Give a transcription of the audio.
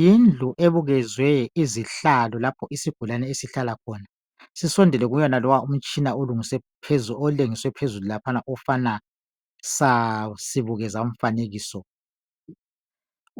Yindlu ebukezwe izihlalo lapho isigulane esihlala khona, sisondele kulowaya mtshina olengiswe phezulu laphana ofana sasibukezamfanekiso.